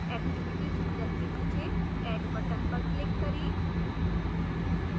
activity chooser के नीचे add button पर click करें